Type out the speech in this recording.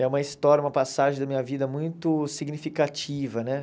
É uma história, uma passagem da minha vida muito significativa, né?